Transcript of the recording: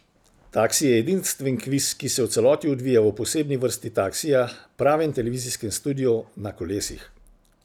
Taksi je edinstven kviz, ki se v celoti odvija v posebni vrsti taksija, pravem televizijskem studiu na kolesih.